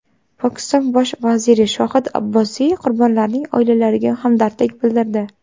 Pokiston bosh vaziri Shohid Abbosiy qurbonlarning oilalariga hamdardlik bildirdi.